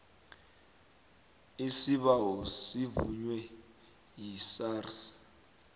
isibawo sivunywe yisars